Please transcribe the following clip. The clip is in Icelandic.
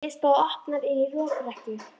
Dyr stóðu opnar inn í lokrekkju.